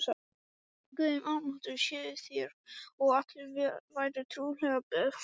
Guði almáttugum séuð þér og allir vær trúlega befalaðir.